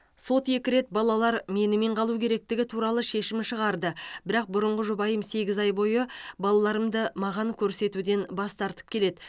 сот екі рет балалар менімен қалу керектігі туралы шешім шығарды бірақ бұрынғы жұбайым сегіз ай бойы балаларымды маған көрсетуден бас тартып келеді